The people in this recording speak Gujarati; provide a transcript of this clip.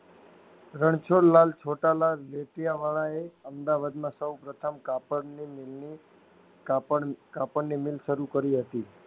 રણછોડ લાલ છોટા લાલ નેત્યાં વાળા એ અમદાવાદમાં સૌપ્રથમ કાપડની મિલની કાપડ કાપડની મિલ શરું કરી હતી.